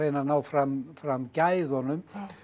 að ná fram fram gæðunum